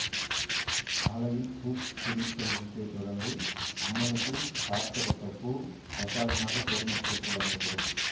காலையில் பூ பிரித்தல் நிகழ்ச்சியைத் தொடர்ந்து அம்மனுக்கு சார்த்தப்பட்ட பூ பிரசாதமாக பொது மக்களுக்கு வழங்கப்படும்